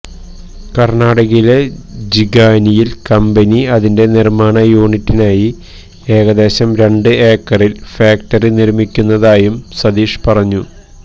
കര്ണാടകയിലെ ജിഗാനിയില് കമ്പനി അതിന്റെ നിര്മ്മാണ യൂണിറ്റിനായി ഏകദേശം രണ്ട് ഏക്കറില് ഫാക്ടറി നിര്മ്മിക്കുന്നതായും സതീഷ് പറഞ്ഞു